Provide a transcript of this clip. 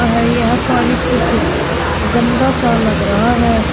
यह पानी कुछ गंदा सा लग रहा है।